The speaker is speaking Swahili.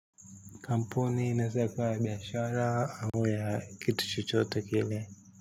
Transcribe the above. Kampuni naeza eka biashara au ya kitu chochote kile.